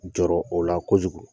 Jɔrɔ o la kojugu